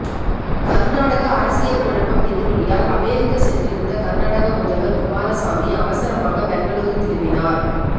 கர்நாடக அரசியல் குழப்பம் எதிரொலியால் அமெரிக்கா சென்றிருந்த கர்நாடக முதல்வர் குமாரசாமி அவசரமாக பெங்களூரு திரும்பினார்